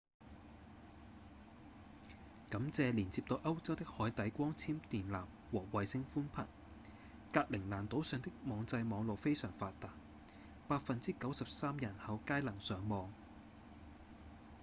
感謝連接到歐洲的海底光纖電纜和衛星寬頻格陵蘭島上的網際網路非常發達 93% 人口皆能上網